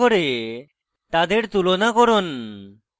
তাদের তুলনা করুন